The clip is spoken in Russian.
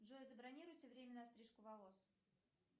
джой забронируйте время на стрижку волос